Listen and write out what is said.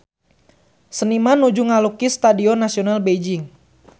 Seniman nuju ngalukis Stadion Nasional Beijing